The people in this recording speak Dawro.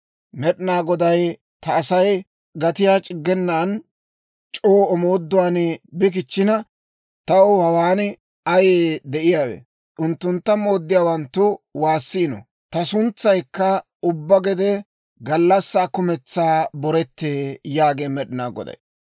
Med'inaa Goday, ta Asay gatiyaa c'iggenan c'oo omooduwaan bi kichchina, taw hawaan ayee de'iyaawe? Unttuntta mooddiyaawanttu waassiino; ta suntsaykka ubbaa gede gallassaa kumentsaa borettee yaagee Med'inaa Goday.